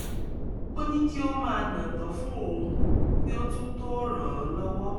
ó ní kí ó máa nàtán fún òun kí ó tún tó ràn án lọ́wọ́